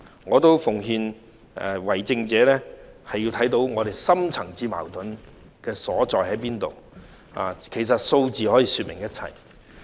我也奉勸為政者，需要看到深層次矛盾的所在，而其實數字可以說明一切。